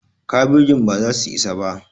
kabejin baza su isa ba